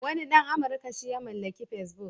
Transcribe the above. Wani ɗan Amurka shi ya mallaki Facebook.